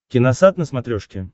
киносат на смотрешке